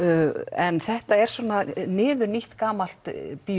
en þetta er svona niðurnítt gamalt